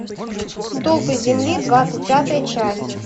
столпы земли двадцать пятая часть